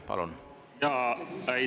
Palun!